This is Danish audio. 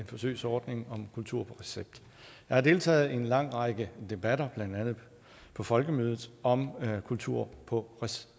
forsøgsordning om kultur på recept jeg har deltaget i en lang række debatter blandt andet på folkemødet om kultur på